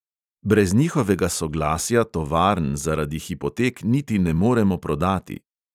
Brez njihovega soglasja tovarn zaradi hipotek niti ne moremo prodati.